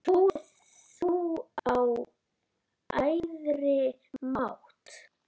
Trúir þú á æðri mátt?